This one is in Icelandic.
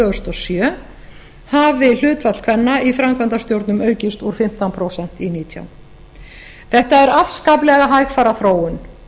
þúsund og sjö hafi hlutfall kvenna í framkvæmdastjórnum aukist úr fimmtán prósent í nítján prósent þetta er afskaplega hægfara þróun